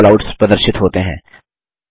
कई कैलआउट्स प्रदर्शित होते हैं